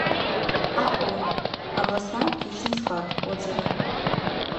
ао областной аптечный склад отзывы